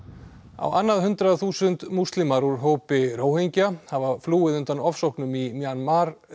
á annað hundrað þúsund múslimar úr hópi hafa flúið undan ofsóknum í Mjanmar